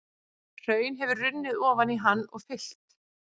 Hraun hefur runnið ofan í hann og fyllt.